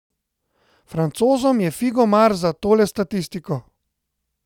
Francozom je figo mar za tole statistiko.